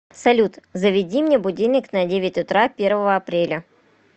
салют заведи мне будильник на девять утра первого апреля